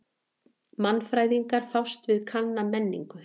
Mannfræðingar fást við kanna menningu.